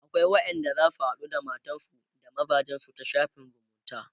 akwai wayanda zasu haɗu da matansu da mazajensu ta shafin zumunta